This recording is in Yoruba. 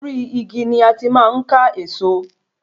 Ori igi ni a ti máa n ka eso